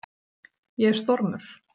Ég er stormur.